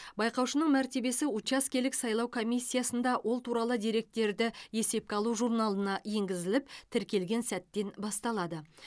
байқаушының мәртебесі учаскелік сайлау комиссиясында ол туралы деректерді есепке алу журналына енгізіліп тіркелген сәттен басталады